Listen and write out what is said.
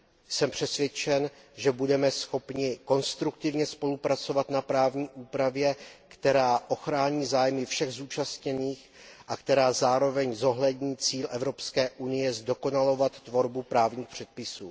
Jsem přesvědčen, že budeme schopni konstruktivně spolupracovat na právní úpravě, která ochrání zájmy všech zúčastněných a která zároveň zohlední cíl EU zdokonalovat tvorbu právních předpisů.